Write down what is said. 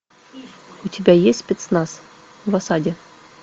у тебя есть спецназ в осаде